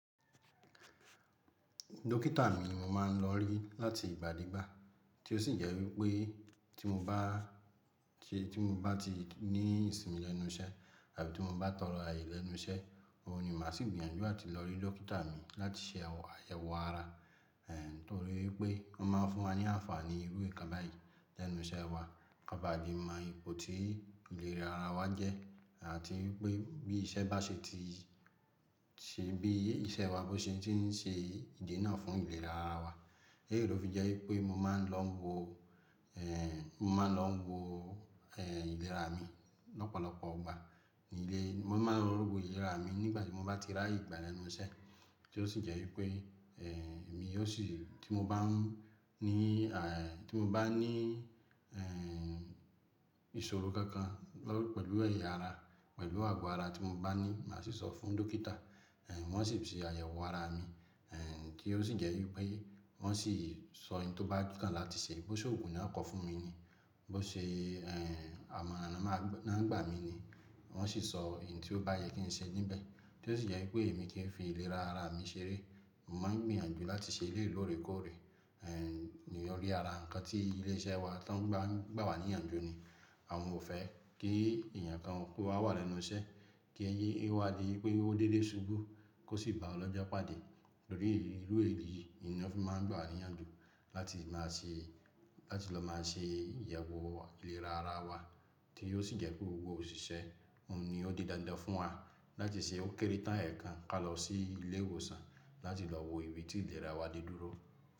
Dókítà mi mo máa ń lọ rí láti ìgbàdígbà tí ó sì jẹ́ wípé tí mo bá ṣe tí mo bá ti ní ìsinmi lẹ́nu iṣẹ́ tàbí tí mo bá tọrọ ayé lẹ́nu iṣẹ́, òun ni màá sì gbìyànjú láti lọ rí Dókítà mi láti ṣe àyẹ̀wò ara. Nítorí pé wọ́n máa fún wa ní àǹfààní irú ìkan láì lẹ́nu iṣẹ́ wa. Ká ba le mọ ipò tí ìlera ara wa jẹ́ àti wipé bí iṣẹ́ bá ṣe ti ṣe bí iṣẹ́ wa bó ṣe ti ń ṣe ìdínà fún ìlera ara wa. Leyii fi jẹ́ wípé mo máa ń lọ wo, eh, mo máa ń lọ wo, eh, ìlera mi lọ́pọ̀lọpọ̀ ìgbà ní ilé. Mo máa ń lọ wo ìlera mi nígbà tí mo bá ti ráyè gbà lẹ́nu iṣẹ́ tí ó sì jẹ́ wípé, eh, èmi yóò sì tí mo bá ní à, eh, tí mo bá ní, eh, ìṣòro kankan pẹ̀lú ẹ̀yà ara, pẹ̀lú àgọ́ ara tí mo bá ní, màá sì sọ fún Dókítà. Eh, wọ́n sì ṣe àyẹ̀wò ara mi, eh, ki ó sì jẹ́ wípé wọ́n sì sọ iń tí ó bá kan láti ṣe. Bó ṣe òògùn náà kọ fún mi ni, bó ṣe, eh, amọ̀ran náà ń gbà mí ni, wọ́n sì sọ ohun tí ó bá yẹ kí n ṣe níbẹ̀ tí ó sì jẹ́ wípé èmi kì í fi ìlera ara mi ṣeré. Mo máa ń gbìyànjú láti ṣe eléyìí loorekoore, eh, ní orí ara. Ǹkan tí ilé iṣẹ́ wa tó ń gbà wà ní ìyànjú ni àwọn ò fẹ́ kí èèyàn kan kó wà lẹ́nu iṣẹ́ kí èyí ó wá di pé ó dédé ṣubú kó sì ba ọlọ́jọ́ pàdé. Nítorí irú èyí ni wọ́n fi máa ń gba wa ni íyànjú láti máa ṣe láti lọ máa ṣe ìyẹ̀wò ìlera ara wa tí ó sì jẹ́ pé gbogbo òṣìṣẹ́ òun ni ó di dandan fún wa láti ṣe ó kéré tán ẹ̀ẹ̀kan ká lọ sí ilé ìwòsàn láti lọ wo ibi tí ìlera wa dé dúró.